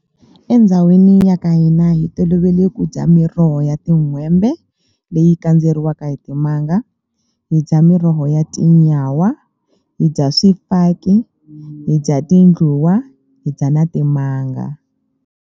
Endhawini ya ka hina hi tolovele ku dya miroho ya tin'hwembe leyi kandzeriwaka hi timanga hi dya miroho ya tinyawa hi dya swifaki hi dya tindluwa hi dya na timanga.